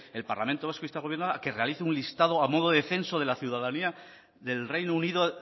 el parlamento vasco insta al gobierno vasco a que realice un listado a modo de censo de la ciudadanía del reino unido